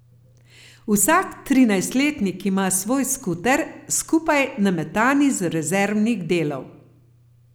Vsak trinajstletnik ima svoj skuter, skupaj nametan iz rezervnih delov.